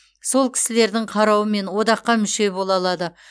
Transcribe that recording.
сол кісілірдің қарауымен одаққа мүше бола алады